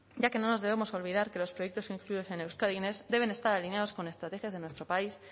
ya que no nos debemos olvidar que los proyectos incluidos en euskadi next deben estar alineados con estrategias de nuestro país